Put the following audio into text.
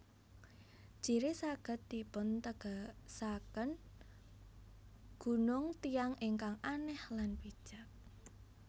Jiri saged dipuntegesaken Gunung Tiyang ingkang Anèh lan Bijak